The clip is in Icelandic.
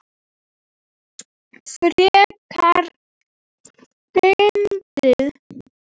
Frekar fyndið!